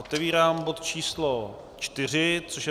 Otevírám bod číslo 4, což je